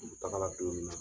N kun tagala don minna